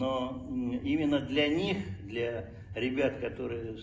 но именно для них для ребят которые